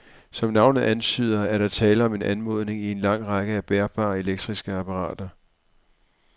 Som navnet antyder, er der tale om en anordning i en lang række af bærbare elektriske apparater.